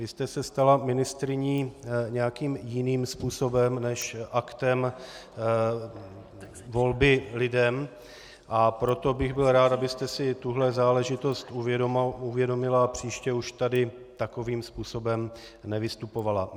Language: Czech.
Vy jste se stala ministryní nějakým jiným způsobem než aktem volby lidem, a proto bych byl rád, abyste si tuhle záležitost uvědomila a příště už tady takovým způsobem nevystupovala.